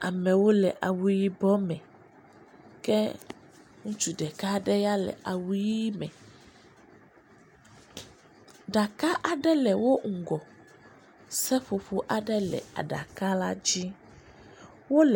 Amewo le yibɔ me ke ŋutsu ɖeka aɖe ya le awu ʋɛ̃ me. Ɖaka aɖe le woƒe ŋgɔ, seƒoƒo aɖe aɖaka la dzi, wole…